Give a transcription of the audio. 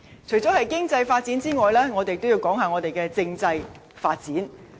除了經濟發展之外，我亦要談論政制發展。